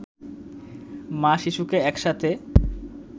মা-শিশুকে একসাথে